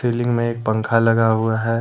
Building में एक पंखा लगा हुआ है।